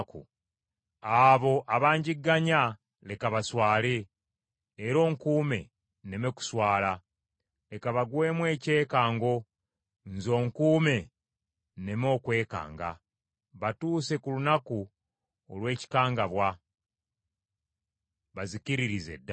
Abo abanjigganya leka baswale, era onkuume nneme kuswala; leka bagwemu ekyekango nze onkuume nneme okwekanga, batuuse ku lunaku olw’ekikangabwa, bazikiririze ddala.